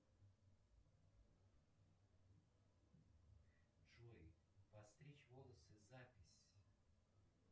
джой постричь волосы запись